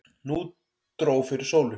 Nú dró fyrir sólu.